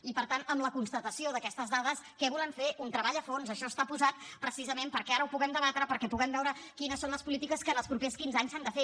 i per tant amb la constatació d’aquestes dades què volem fer un treball a fons això està posat precisament perquè ara ho puguem debatre perquè puguem veure quines són les polítiques que en els propers quinze anys s’han de fer